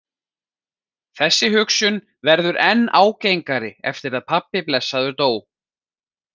Þessi hugsun verður enn ágengari eftir að pabbi blessaður dó.